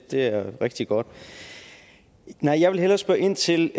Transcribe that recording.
det er rigtig godt men jeg vil hellere spørge ind til